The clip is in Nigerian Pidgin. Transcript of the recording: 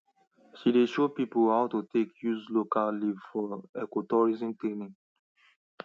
she dey show people how to take use local leaf for ecotourism training